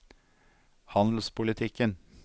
handelspolitikken